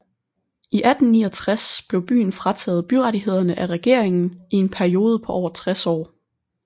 I 1869 blev byen frataget byrettighederne af regeringen i en periode på over 60 år